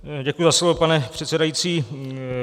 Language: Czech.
Děkuji za slovo, pane předsedající.